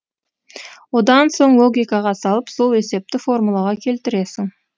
одан соң логикаға салып сол есепті формулаға келтіресің